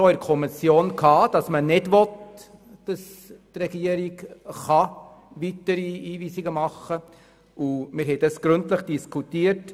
Wir haben den Antrag, wonach man nicht will, dass die Regierung weitere Hinweisungen machen kann, in der Kommission gründlich diskutiert.